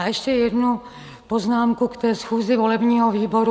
A ještě jednu poznámku k té schůzi volebního výboru.